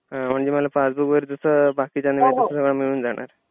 म्हणजे मला पासबुक वगैरे जसं बाकीच्यांना मिळतं तसं सगळं मिळून जाणार.